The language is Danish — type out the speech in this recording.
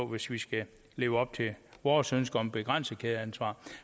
hvis vi skal leve op til vores ønske om begrænset kædeansvar